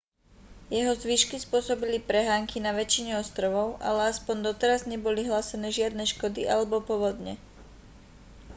jeho zvyšky spôsobili prehánky na väčšine ostrovov ale aspoň doteraz neboli hlásené žiadne škody alebo povodne